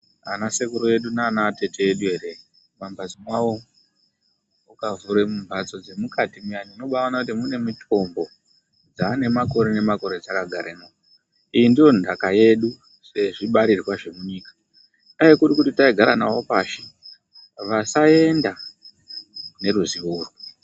Ana sekuru edu naana atete edu eree, mumambhatso mwawo ukavhura mumbhatso dzemukati muyani, unobaaona kuti mune mitombo dzaanemakore nemakore dzakagaremwo. Iyi ndiyo ndhaka yeku sezvibarirwa zvemunyika. Dai kuri kuti taigara nawo pashi, vasaenda neruzivo urwu.